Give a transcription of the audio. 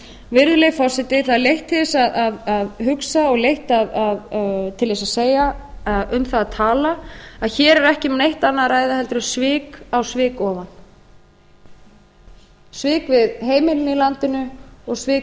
virðulegi forseti það er leitt til þess að hugsa og leitt um það að tala að hér er ekki um neitt annað að ræða en svik á svik ofan svik við heimilin í landinu og svik